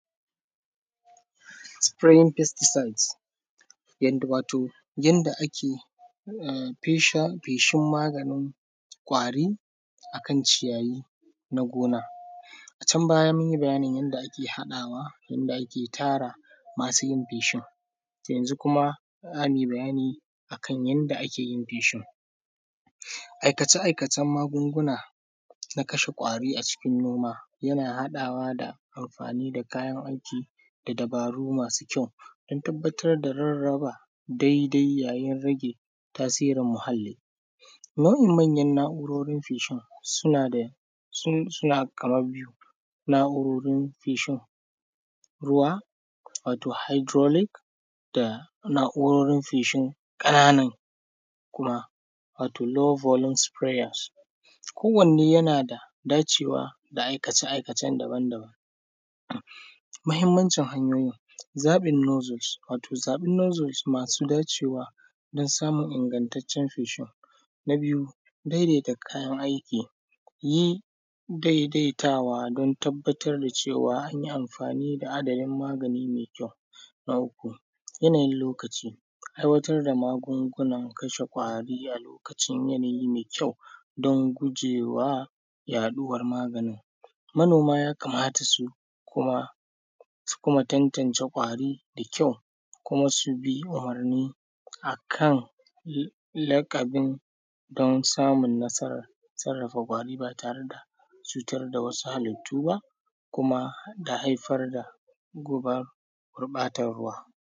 Sifireyin fastisaid, wato yadda ake feshin magani kwari akan ciyayi na gona, can baya mun yi bayanin yanda ake haɗawa, yanda ake tara masu yin feshin. Yau kuma za mu yi bayani akan yanda ake yin feshin a aikace-aikacen magunguna na kashe ƙwari a cikin noma, yana haɗawa da amfani da kayan wanki da dabaru masu kyau, tabbatar da rarraba daidai yayin rage tasirin muhalli nau’in manyan na’urorin feshin su ne, suna kaman biyu na’urorin feshin ruwa wato haidurolik da na’urorin feshinka. Nan kuma lo bolum sufiraya ko wanne yana dacewa da aikace-aikacen daban-daban muhinmancin hanyoyin zaɓinan nozimas cewa don samun ingataccen feshin, na biyu dai dai ta yi daidaitawa don tabbatar da cewa an yi amfani da haɗa yin magani mai kyau. Na uku yanayin lokaci, aiwatar da magungunan kashe ƙwari a lokacin yadda me kyau don gujewa yaɗuwan maganin, manoma yakamata su kuma tantance ƙwari da kyau su kuma su bi umurni akan laƙabin don samun nasara sarrafa kwari ba tare da cutar da wasu halittu, kuma da haifar da gurɓatan ruwa.